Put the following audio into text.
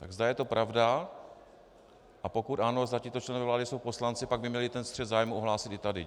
Tak zda je to pravda, a pokud ano, zda tito členové vlády jsou poslanci, pak by měli ten střet zájmů ohlásit i tady.